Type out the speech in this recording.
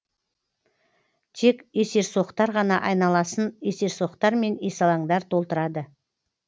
тек есерсоқтар ғана айналасын есерсоқтар мен есалаңдар толтырады